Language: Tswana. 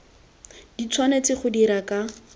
di tshwanetse go dirwa ka